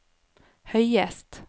høyest